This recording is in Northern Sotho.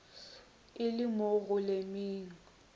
e le mo go lemeng